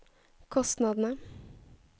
kostnadene